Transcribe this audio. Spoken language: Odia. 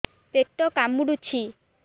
ପେଟ କାମୁଡୁଛି